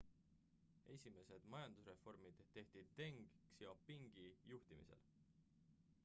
esimesed majandusreformid tehti deng xiaopingi juhtimisel